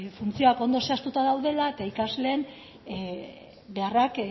funtzioak ondo zehaztuta daudela eta ikasleen beharrak